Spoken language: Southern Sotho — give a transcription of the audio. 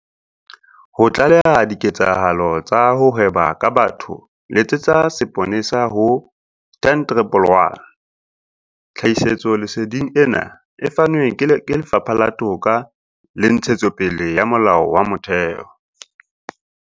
Ho tlaleha diketsahalo tsa ho hweba ka batho letsetsa seponesa ho- 10111. Tlhahisoleseding ena e fanwe ke Lefapha la Toka le Ntshetsopele ya Molao wa Motheo.